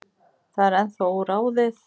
Það er ennþá óráðið.